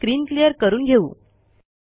आपण screen clear करून घेऊ